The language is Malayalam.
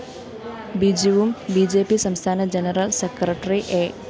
ബിജുവും ബി ജെ പി സംസ്ഥാന ജനറൽ സെക്രട്ടറി എ